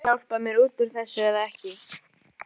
Ætlarðu að hjálpa mér út úr þessu eða ekki?